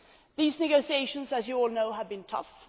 These negotiations, as you all know, have been tough.